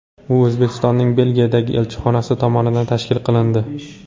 U O‘zbekistonning Belgiyadagi elchixonasi tomonidan tashkil qilindi.